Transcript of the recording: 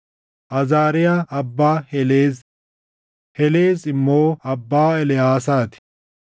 Azaariyaa abbaa Heleez; Helees immoo abbaa Eleʼaasaa ti;